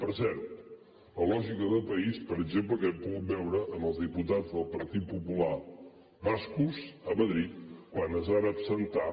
per cert la lògica de país per exemple que hem pogut veure en els diputats del partit popular bascos a madrid quan es van absentar